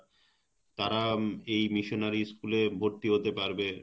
তারা এই missionary school এ ভর্তি হতে পারবে,